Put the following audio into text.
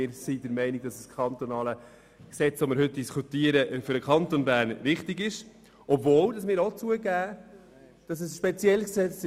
Wir sind der Meinung, dass das kantonale Gesetz, über welches wir heute diskutieren, für den Kanton Bern richtig ist, obwohl es zugegebenermassen speziell ist.